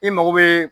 I mago bɛ